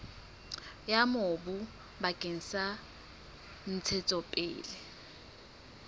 ya mobu bakeng sa ntshetsopele